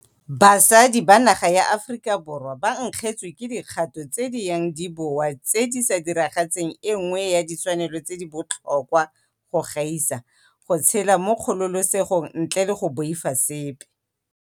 Basadi ba naga ya Aforika Borwa ba nkgetswe ke dikgato tse di yang di boa tse di sa diragatseng e nngwe ya ditshwanelo tse di botlhokwa go gaisa go tshela mo kgololesegong ntle le go boifa sepe.